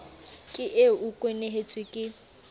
ke eo o kwenehetswe ke